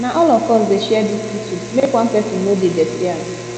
na all of us dey share dis kitchen make one pesin no dey dirty am